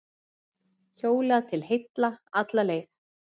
Hjólað til heilla alla leið